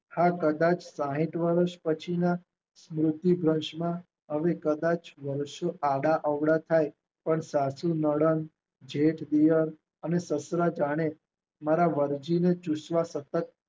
હા કદાચ સાહીઠ વર્ષ પછીના મૃત્યુભસમા હવે કદાચ વર્ષો આડાઅવળા થાય પણ સાસુ નણંદ, જેઠ દિયર અને સસરા જાણે મારા વરજીને ચૂસવા સત્તત